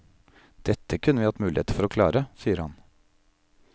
Dette kunne vi hatt muligheter for å klare, sier han.